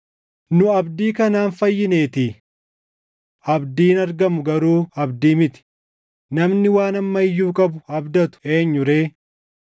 Nu abdii kanaan fayyineetii. Abdiin argamu garuu abdii miti; namni waan amma iyyuu qabu abdatu eenyu ree?